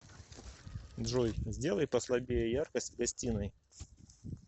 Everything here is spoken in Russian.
джой сделай послабее яркость в гостиной